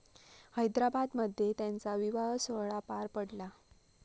हैदराबादमध्ये त्यांचा विवाहसोहळा पार पडला.